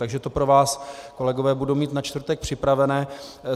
Takže to pro vás, kolegové, budu mít na čtvrtek připravené.